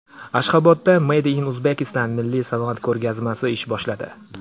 Ashxobodda Made in Uzbekistan milliy sanoat ko‘rgazmasi ish boshladi.